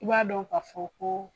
I b'a dɔn ka fɔ ko